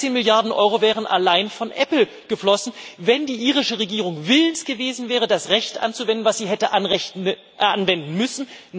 13 Milliarden Euro wären allein von Apple geflossen, wenn die irische Regierung willens gewesen wäre, das Recht anzuwenden, das sie nach Unionsrecht hätte anwenden müssen.